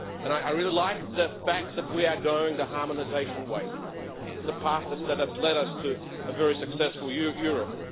And I really like the fact that we are going the harmonisation way the path that has led us to a very successful Europe.